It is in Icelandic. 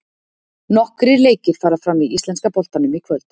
Nokkrir leikir fara fram í íslenska boltanum í kvöld.